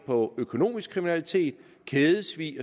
på økonomisk kriminalitet kædesvig